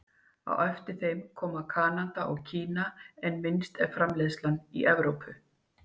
Á eftir þeim koma Kanada og Kína en minnst er framleiðslan í Evrópu.